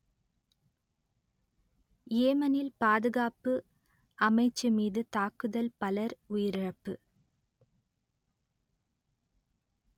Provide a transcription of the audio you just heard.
யேமனில் பாதுகாப்பு அமைச்சு மீது தாக்குதல் பலர் உயிரிழப்பு